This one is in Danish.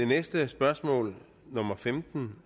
næste spørgsmål nummer femten